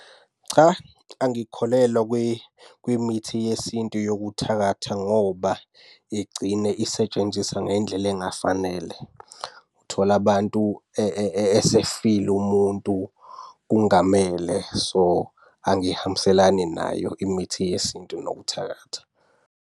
Cha angikholelwa kwimithi yesintu yokuthakatha ngoba igcine isetshenziswa ngendlela engafanele. Uthola abantu esefile umuntu kungamele. So, angihambiselani nayo imithi yesintu nokuthakatha.